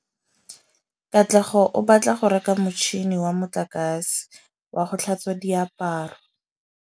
Katlego o batla go reka motšhine wa motlakase wa go tlhatswa diaparo.